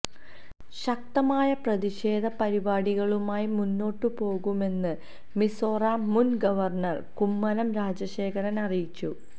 ശക്തമായ പ്രതിഷേധ പരിപാടികളുമായി മുന്നോട്ട് പോകുമെന്ന് മിസോറാം മുന് ഗവര്ണര് കുമ്മനം രാജശേഖരന് അറിയിച്ചു